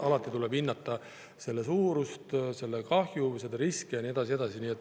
Alati tuleb hinnata suurust, kahjut, riske ja nii edasi.